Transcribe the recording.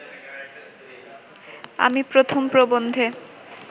আমি প্রথম প্রবন্ধে